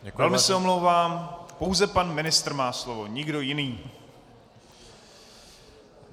Velmi se omlouvám, pouze pan ministr má slovo, nikdo jiný.